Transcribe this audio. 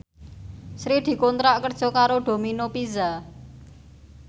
Sri dikontrak kerja karo Domino Pizza